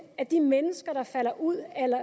at de mennesker der falder ud af